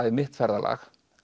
í mitt ferðalag